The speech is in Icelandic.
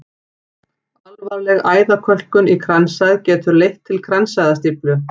Alvarleg æðakölkun í kransæð getur leitt til kransæðastíflu.